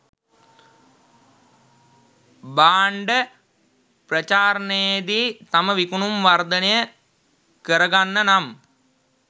භාන්ඩ ප්‍රචාරනයේදී තම විකුණුම් වර්දනය කරගන්න නමි